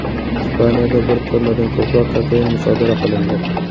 Ispaniyada bir tonnadan ko‘proq kokain musodara qilindi.